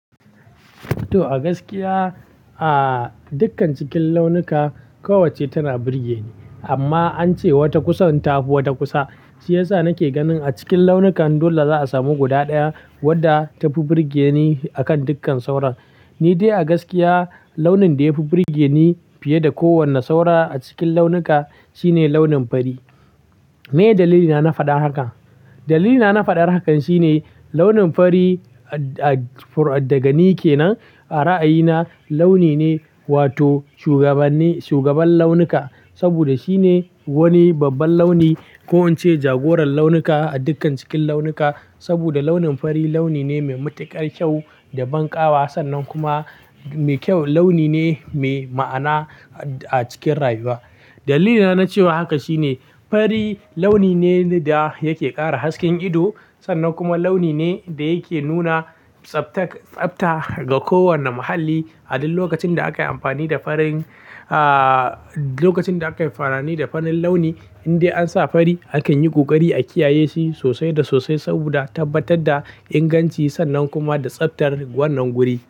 To a gaskiya, a dukkan cikin launuka kowacce tana burge ni amma an ce wata kusan ta fi wata kusa. Shi yasa nake ganin a cikin launukan dole za a samu guda ɗaya wadda ta fi burge ni a kan dukkan sauran. Ni dai a gaskiya launin da ya fi burge ni fiye da kowane saura a cikin launuka shine launin fari. Meye dalilina na faɗar haka? Dalilina na faɗar hakan shine launin fari daga ni ke nan a ra'ayina launi ne wato shugabannin-shugaban launuka. Saboda shine wani babban launi ko in ce jagoran launuka a dukkan cikin launuka. Saboda launin fari launi ne mai matuƙar kyau da ban ƙawa sannan kuma mai kyau launi ne mai ma'ana a cikin rayuwa. Dalilina na cewa haka shine fari launi ne da yake ƙara hasken ido sannan kuma launi ne da yake nuna tsaftak-tsafta ga kowane muhalli. A duk lokacin da aka yi amfani da farin, ah, lokacin da aka yi farani da farin launi in dai an sa fari akan yi ƙoƙari a kiyaye shi sosai da sosai saboda tabbatar da inganci sannan kuma da tsaftar wannan guri.